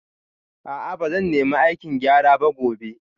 A'a ba zan nemi aikin gyara ba gobe